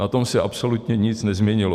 Na tom se absolutně nic nezměnilo.